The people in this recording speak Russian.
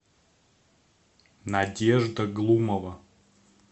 надежда глумова